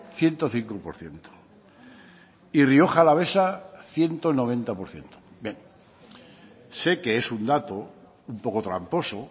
ciento cinco por ciento y rioja alavesa ciento noventa por ciento bien sé que es un dato un poco tramposo